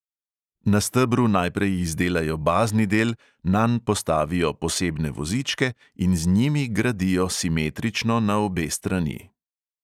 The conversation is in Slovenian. Na stebru najprej izdelajo bazni del, nanj postavijo posebne vozičke in z njimi gradijo simetrično na obe strani.